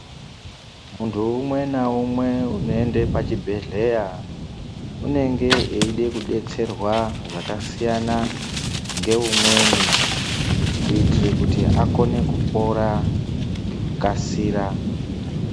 Muntu umwe na umwe uno ende pa chibhedhleya unenge eide ku detserwa zvakasiyana nge umweni kuitire kuti akone kupora ngeku kasira.